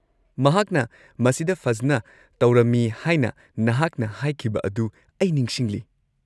ꯃꯍꯥꯛꯅ ꯃꯁꯤꯗ ꯐꯖꯅ ꯇꯧꯔꯝꯃꯤ ꯍꯥꯏꯅ ꯅꯍꯥꯛꯅ ꯍꯥꯏꯈꯤꯕ ꯑꯗꯨ ꯑꯩ ꯅꯤꯡꯁꯤꯡꯂꯤ꯫